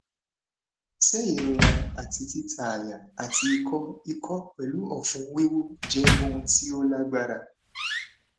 se irora ati tita aya ati iko iko pelu ofun wiwu je ohun ti o lagbara